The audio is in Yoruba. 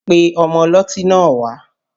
Pe ọmọ ọlọ́tí náà wá!